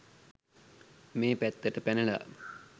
මේ පැත්තට පැනලා